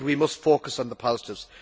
He said we must focus on the positives.